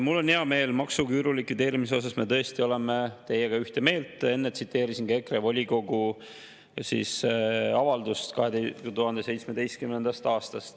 Mul on hea meel, et maksuküüru likvideerimise suhtes me tõesti oleme teiega ühte meelt, enne tsiteerisin ka EKRE volikogu avaldust 2017. aastast.